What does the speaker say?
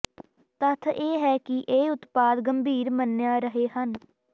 ਤੱਥ ਇਹ ਹੈ ਕਿ ਇਹ ਉਤਪਾਦ ਗੰਭੀਰ ਮੰਨਿਆ ਰਹੇ ਹਨ